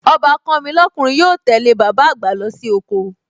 Ọbàkan mi lọ́kùnrin yóò tẹ́lẹ̀ bàbá àgbà lọ sí oko